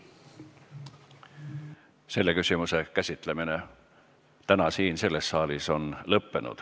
Selle küsimuse käsitlemine täna siin, selles saalis on lõppenud.